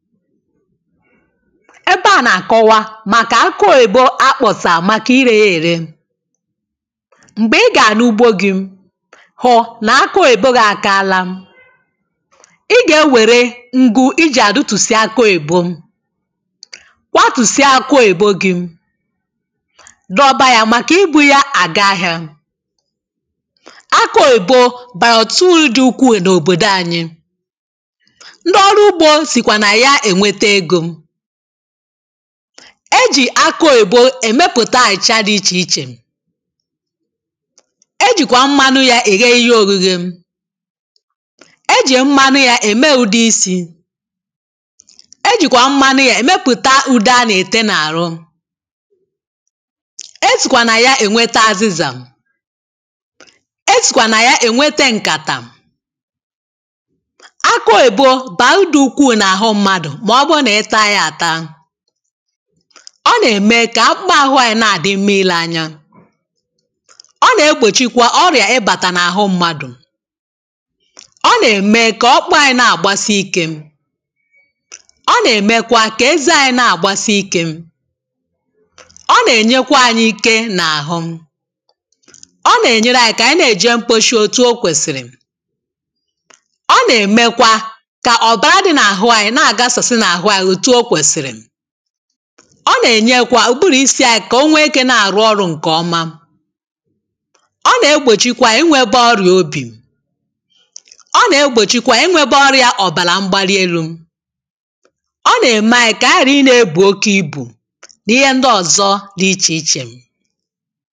ebe a na-akọwa màkà akị oyìbo akpọ̀sà màkà irė ya ère m̀gbè ị gà-ànugbo gi̇ hụ nà akị oyìbo gi̇ àkaala ị gà-ewère ngu̇ ijì àdụ tùsì akị oyìbo kwàtùsì akị oyìbo gi̇ dọba ya màkà ibu̇ ya àga ahịȧ akị oyìbo bààtụ̀rụ̀ dị ukwù n’òbòdò anyị̇ e jì akụ òyìbo èmepụ̀ta àịchị̀ dị̀ ichè ichè e jìkwà mmanụ yȧ ị̀ ghe ihe ogi̇ghi̇ e jì mmanụ yȧ ème ụ̀dị isi̇ e jìkwà mmanụ yȧ èmepụ̀ta ụdị a nà-ètè n’àrụ esìkwà nà ya ènwete azịzà esìkwà nà ya ènwete ǹkàtà ọ nà-ème kà ọ kpụma ahụ̇ anyị̇ na-àdị mma ile anya ọ nà-egbòchikwa ọrịà ịbàtà n’àhụ mmadụ̀ ọ nà-ème kà ọkpụ anyị̇ na-àgbasi ikė ọ nà-èmekwa kà eze anyi̇ na-àgbasi ikė ọ nà-ènyekwa anyị̇ ke n’àhụ ọ nà-ènyere anyị̇ kà ànyị na-èje mkposhi òtù o kwèsìrì ọ nà-èmekwa kà ọ̀bàra dị n’àhụ anyị̇ na-àgasọ̀sị na ọ nà-ènyekwa ụ̀bụrụ̀ isi yȧ kà o nwee ikė na-àrụ ọrụ̇ ǹkè ọma ọ nà-egbòchikwa inwėbė ọrịà obì ọ nà-egbòchikwa inwėbė ọrịà ọ̀bàlà mgbalieu̇ ọ nà-ème ànyị kà ànyị ghàra i nà-ebù oke ibù n’ihe ndị ọ̀zọ dị ichè ichè